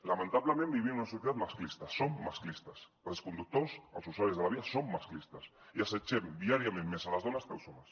lamentablement vivim en una societat masclista som masclistes els conductors els usuaris de la via som masclistes i s’assetgen viàriament més les dones que els homes